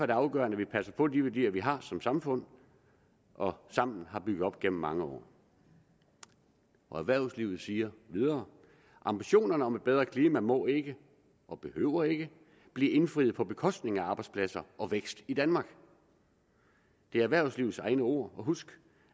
det afgørende at vi passer på de værdier vi har som samfund og sammen har bygget op gennem mange år erhvervslivet siger videre at ambitionerne om et bedre klima må ikke og behøver ikke blive indfriet på bekostning af arbejdspladser og vækst i danmark det er erhvervslivets egne ord og husk